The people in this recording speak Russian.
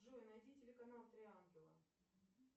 джой найди телеканал три ангела